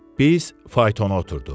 Biz faytona oturduq.